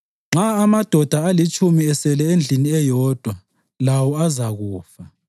Nxa amadoda alitshumi esele endlini eyodwa, lawo azakufa.